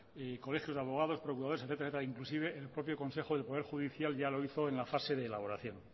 colegios de abogados procuradores etcétera etcétera inclusive el propio consejo del poder judicial ya lo hizo en la fase de elaboración